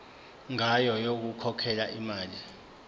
ngayo yokukhokhela imali